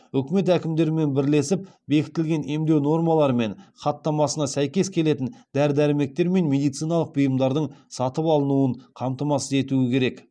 үкімет әкімдерімен бірлесіп бекітілген емдеу нормалары мен хаттамасына сәйкес келетін дәрі дәрмектер мен медициналық бұйымдардың сатып алынуын қамтамасыз етуі керек